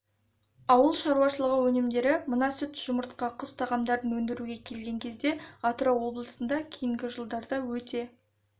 ауыл шаруашылығы өнімдері мына сүт жұмыртқа құс тағамдарын өндіруге келген кезде атырау облысында кейінгі жылдарда өте